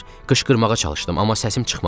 Qışqırmağa çalışdım, amma səsim çıxmadı.